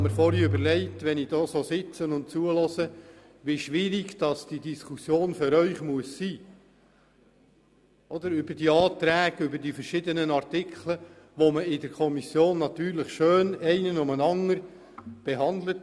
Als ich vorhin so dagesessen habe, habe ich mir überlegt, wie schwierig diese Diskussion für Sie sein muss, denn in der Kommission wurden die einzelnen Anträge zu den verschiedenen Artikeln schön der Reihe nach behandelt.